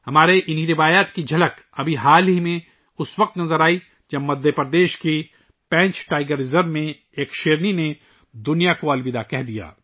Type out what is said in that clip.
ہماری اِن اقدار کی ایک جھلک حال ہی میں ، اُس وقت دیکھی گئی ، جب مدھیہ پردیش کے پینچ ٹائیگر ریزرو میں ایک شیرنی نے دنیا کو الوداع کہا